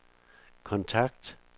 kontakt